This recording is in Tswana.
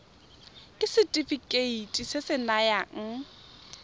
ke setefikeiti se se nayang